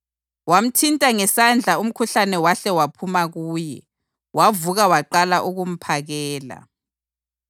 Wamthinta esandleni umkhuhlane wahle waphuma kuye, wavuka waqala ukumphakela.